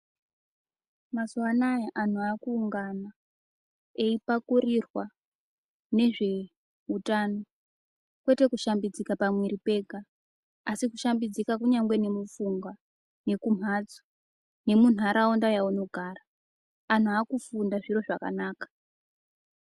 Mazuwa anaya anhu aakuungana ,eipakurirwa nezveutano, kwete kushambidzika pamwiiri pega ,asi kushambidzika kunyangwe nemupfungwa, nekumhatso, nemunharaunda yaunogara. Anhu aakufunda zviro zvakanaka.